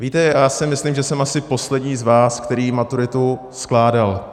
Víte, já si myslím, že jsem asi poslední z vás, který maturitu skládal.